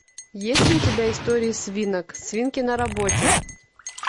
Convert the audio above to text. есть ли у тебя истории свинок свинки на работе